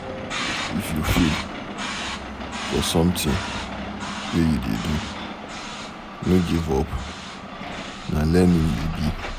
If you fail for something wey you dey do, no give up na learning e be.